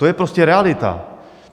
To je prostě realita!